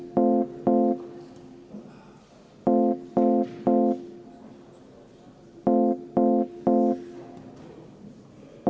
Hääletustulemused Ettepaneku poolt oli 35 rahvasaadikut ja vastu 42.